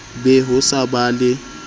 be ho sa ba le